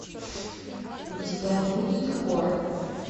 у тебя будет хор